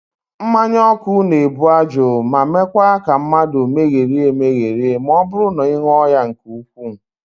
Mmanyaọkụ na-ebu ajụ ma meekwa ka mmadụ megherie emegheri ma ọ bụrụ na ị ṅụọ ya nke ukwuu